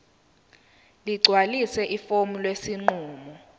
ligcwalise ifomu lesinqumo